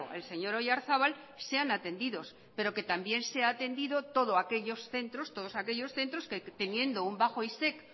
el señor oyarzabal sean atendidos pero que también sean atendidos todos aquellos centros todos aquellos centros que teniendo un bajo isec